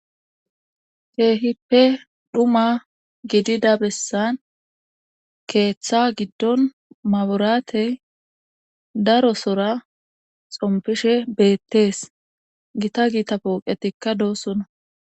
Keehippe dhuma gidida bessan keeththa giddon maburaatey daro sora xompishe beettees gita giita pooqetikka doosona.